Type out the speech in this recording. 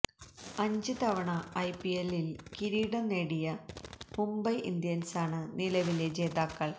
അഞ്ച് തവണ ഐപിഎല്ലില് കിരീടം നേടിയ മുംബൈ ഇന്ത്യന്സാണ് നിലവിലെ ജേതാക്കള്